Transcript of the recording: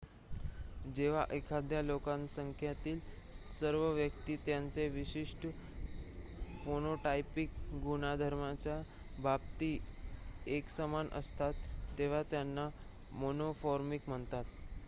जेव्हा एखाद्या लोकसंख्येतील सर्व व्यक्ती त्यांच्या विशिष्ट फेनोटायपिक गुणधर्माच्या बाबतीत एकसमान असतात तेव्हा त्यांना मोनोमॉर्फिक म्हणतात